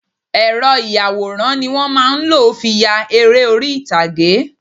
Ẹ́rọ ìyàwòrán ni wọ́n má a ń lò fi ya eré orí ìtàgé